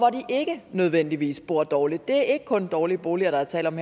ikke nødvendigvis bor dårligt det er ikke kun dårlige boliger der er tale om